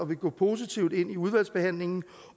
vi går positivt ind i udvalgsbehandlingen